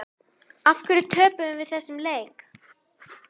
Af hverju töpum við þessum leik?